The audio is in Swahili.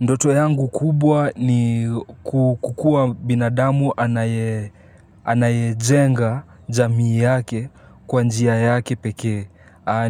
Ndoto yangu kubwa ni kukua binadamu anayejenga jamii yake kwa njia yake pekee.